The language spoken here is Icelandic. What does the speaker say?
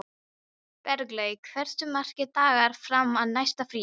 Berglaug, hversu margir dagar fram að næsta fríi?